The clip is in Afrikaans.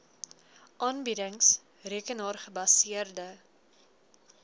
aanbiedings rekenaar gebaseerde